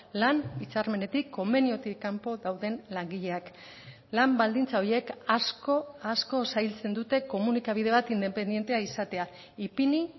lan hitzarmenetik konbeniotik kanpo dauden langileak lan baldintza horiek asko asko zailtzen dute komunikabide bat independentea izatea ipini